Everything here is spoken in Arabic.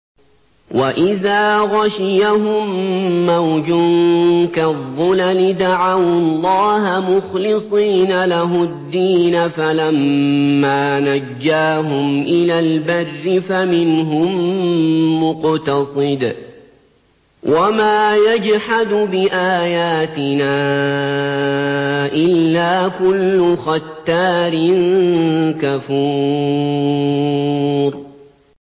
وَإِذَا غَشِيَهُم مَّوْجٌ كَالظُّلَلِ دَعَوُا اللَّهَ مُخْلِصِينَ لَهُ الدِّينَ فَلَمَّا نَجَّاهُمْ إِلَى الْبَرِّ فَمِنْهُم مُّقْتَصِدٌ ۚ وَمَا يَجْحَدُ بِآيَاتِنَا إِلَّا كُلُّ خَتَّارٍ كَفُورٍ